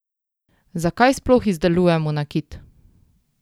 Zakaj sploh izdelujemo nakit?